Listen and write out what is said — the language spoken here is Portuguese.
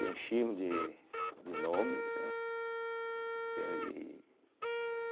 Enchíamos de de nomes, né, entende. e